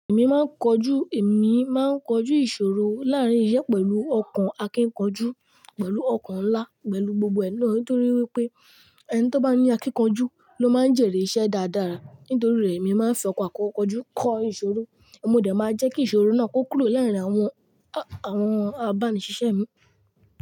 Èmi máa ń kọjú, èmi máa ń kọjú ìṣòro láàárín iṣẹ́ pẹ̀lú ọkàn akíkanjú, pẹ̀lú ọkàn ńlá, pẹ̀lú gbogbo ẹ naa, nítorí wípé ẹni tó bá ní akíkanjú ló máa ń jèrè iṣẹ́ dáadáa. Nítorí rẹ̀ èmi máa ń fi ọkàn akọkọjú kọ ìṣòro. Mo dà máa jẹ́ kí ìṣòro náà kó kúrò láàárín àwọn, àwọn abánisiṣẹ́ mi.